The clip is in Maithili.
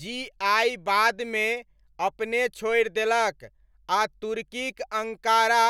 जी आइ बादमे अपने छोरि देलक आ तुर्कीक अङ्कारा